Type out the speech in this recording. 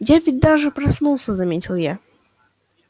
я ведь даже проснулся заметил я